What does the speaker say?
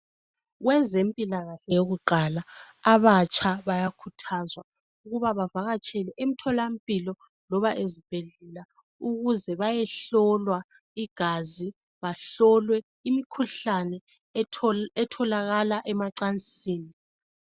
Kwezempilakahle yokuqala abatsha bayakhuthazwa ukuba bavakatshele emtholampilo loba ezibhedlela ukize bayehlolwa igazi bahlolwe imikhuhlane etholakala emacansini